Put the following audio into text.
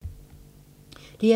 DR2